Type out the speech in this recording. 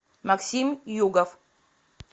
максим югов